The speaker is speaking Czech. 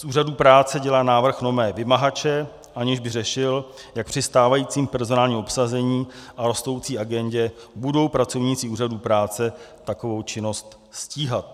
Z úřadů práce dělá návrh nové vymahače, aniž by řešil, jak při stávajícím personálním obsazení a rostoucí agendě budou pracovníci úřadů práce takovou činnost stíhat.